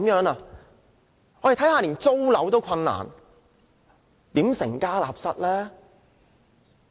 年輕人連租樓也有困難，如何成家立室呢？